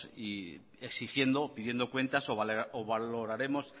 exigiendo y pidiendo cuentas o valoraremos